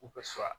U bɛ so